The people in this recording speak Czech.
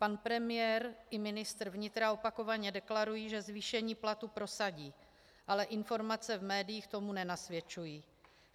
Pan premiér i ministr vnitra opakovaně deklarují, že zvýšení platů prosadí, ale informace v médiích tomu nenasvědčují.